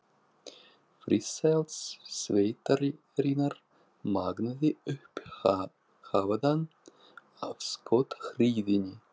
Friðsæld sveitarinnar magnaði upp hávaðann af skothríðinni.